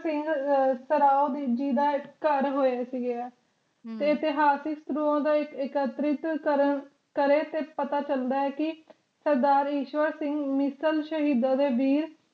ਸਿੰਘ ਸਰਾਓਬੇਜ਼ੀ ਦਾ ਘੜ ਹੋਇਆ ਸੀਗਆ ਤੇ ਇਤਹਾਸਿਕ ਸਤਰੁਹਾ ਦਾ ਇਕਤਰਿਕ ਕਰ ਕਰੇ ਤੇ ਪਤਾ ਚਲਦਾ ਕਿ ਸਰਦਾਰ ਈਸ਼ਵਰ ਸਿੰਘ ਮਿਸਲ ਸ਼ਹੀਦਾਂ ਦੇ ਵੀਰ